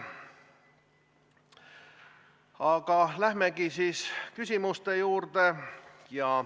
Aga lähemegi siis küsimuste juurde.